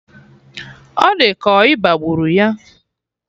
Ọ di ka ọ ịba gburu ya